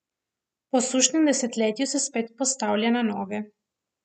Po sušnem desetletju se spet postavlja na noge.